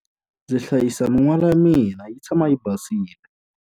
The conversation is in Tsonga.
Ndzi hlayisa min'wala ya mina yi tshama yi basile.